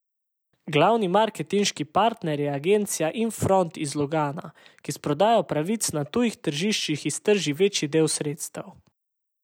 Glavni marketinški partner je agencija Infront iz Lugana, ki s prodajo pravic na tujih tržiščih iztrži večji del sredstev.